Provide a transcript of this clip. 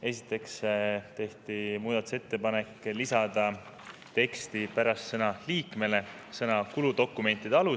Esiteks tehti muudatusettepanek lisada teksti pärast sõna "liikmele" sõnad "kuludokumentide alusel".